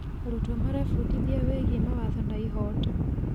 Arutwo marebundithia wĩgiĩ mawatho na ihooto.